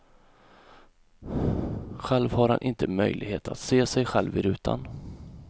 Själv har han inte möjlighet att se sig själv i rutan.